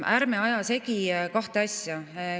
Ärme ajame segi kahte asja.